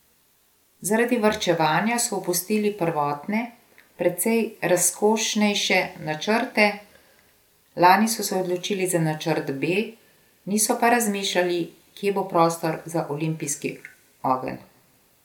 Zaradi varčevanja so opustili prvotne, precej razkošnejše načrte, lani so se odločili za načrt B, niso pa razmišljali, kje bo prostor za olimpijski ogenj.